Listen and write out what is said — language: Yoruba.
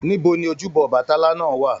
Níbo ni ojúbọ ọbàtálá náà wà?